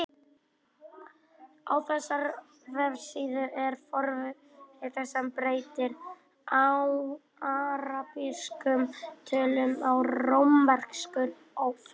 Á þessari vefsíðu er forrit sem breytir arabískum tölum í rómverskar og öfugt.